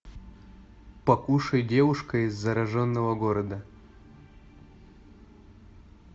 покушай девушка из зараженного города